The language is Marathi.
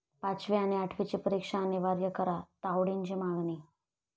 पाचवी आणि आठवीची परीक्षा अनिवार्य करा, तावडेंची मागणी